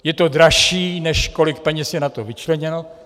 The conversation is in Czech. Je to dražší, než kolik peněz je na to vyčleněno.